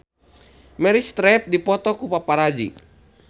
Meryl Streep dipoto ku paparazi